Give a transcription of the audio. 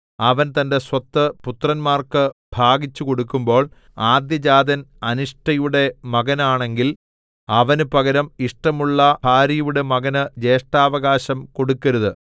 അവൻ തന്റെ സ്വത്ത് പുത്രന്മാർക്ക് ഭാഗിച്ചു കൊടുക്കുമ്പോൾ ആദ്യജാതൻ അനിഷ്ടയുടെ മകനാണെങ്കിൽ അവനു പകരം ഇഷ്ടമുള്ള ഭാര്യയുടെ മകന് ജ്യേഷ്ഠാവകാശം കൊടുക്കരുത്